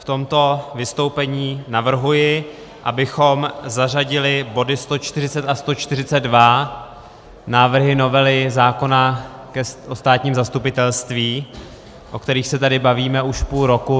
V tomto vystoupení navrhuji, abychom zařadili body 140 až 142 - návrhy novely zákona o státním zastupitelství, o kterých se tady bavíme už půl roku.